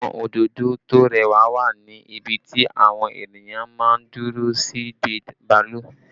Àwọn òdòdó tó rẹwà wà ní ibi tí àwọn ènìyàn máa ń dúró sí dé bàálù